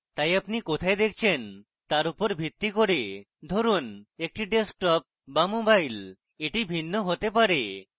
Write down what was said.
তাই আপনি কোথায় দেখছেন তার উপর ভিত্তি করে ধরুন একটি desktop be mobile এটি ভিন্ন হতে পারে